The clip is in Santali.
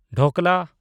ᱰᱷᱳᱠᱞᱟ